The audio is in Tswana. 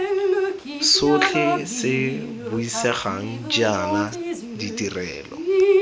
sotlhe se buisegang jaana ditirelo